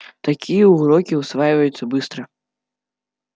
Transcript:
такие уроки усваиваются быстро